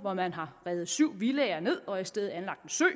hvor man har revet syv villaer ned og i stedet anlagt en sø